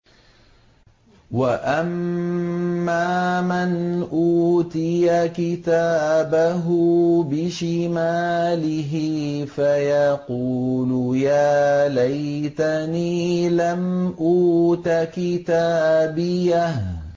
وَأَمَّا مَنْ أُوتِيَ كِتَابَهُ بِشِمَالِهِ فَيَقُولُ يَا لَيْتَنِي لَمْ أُوتَ كِتَابِيَهْ